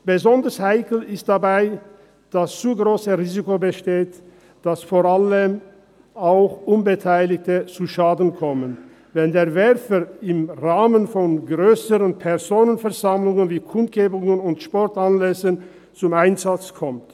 Besonders heikel ist dabei, dass das zu grosse Risiko besteht, dass vor allem auch Unbeteiligte zu Schaden kommen, wenn der Werfer im Rahmen von grösseren Personenansammlungen, wie Kundgebungen und Sportanlässen, zum Einsatz kommt.